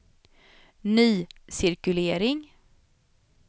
ny cirkulering